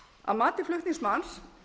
að mati flutningsmanns